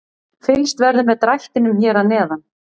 Fylgst verður með drættinum hér að neðan.